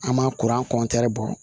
An ma kuran bɔ